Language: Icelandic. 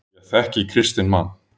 Ég þekki kristinn mann.